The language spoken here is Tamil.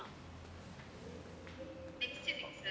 next week sir